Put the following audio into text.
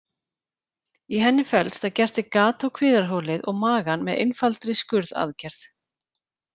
Í henni felst að gert er gat á kviðarholið og magann með einfaldri skurðaðgerð.